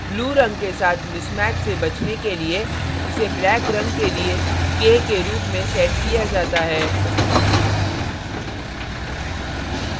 blue blue रंग के साथ mismatch से बचने के लिए इसे black black रंग के लिए k के रूप में set किया जाता है